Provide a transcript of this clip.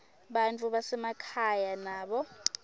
bantfu basemakhaya nabo